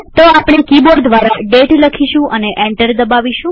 તો આપણે કિબોર્ડ દ્વારા દાતે લખીશું અને એન્ટર દબાવીશું